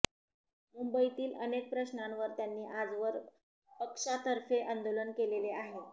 मुंबईतील अनेक प्रश्नांवर त्यांनी आजवर पक्षातर्फे आंदोलन केलेले आहे